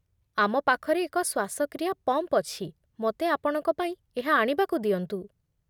ଆମ ପାଖରେ ଏକ ଶ୍ୱାସକ୍ରିୟା ପମ୍ପ୍ ଅଛି, ମୋତେ ଆପଣଙ୍କ ପାଇଁ ଏହା ଆଣିବାକୁ ଦିଅନ୍ତୁ।